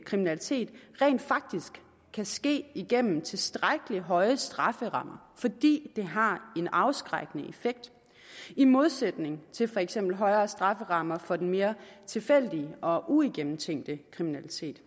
kriminalitet rent faktisk kan ske igennem tilstrækkelig høje strafferammer fordi det har en afskrækkende effekt i modsætning til for eksempel højere strafferammer for den mere tilfældige og uigennemtænkte kriminalitet